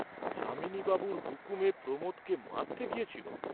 যামিনী বাবুর হুকুমে প্রমোদকে মারতে গিয়েছিল!